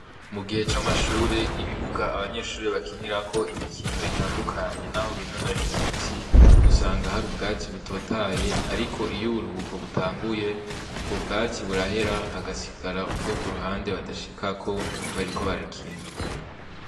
Mu gihe c' amashure ibibuga abanyeshure bakinirako imikino itandukanye naho binonorera imitsi usanga hari ubwatsi butotahaye ariko iyo uburuhuko butanguye ubwo bwatsi burahera hagasigara ubwo kuruhande badashikako bariko barakina.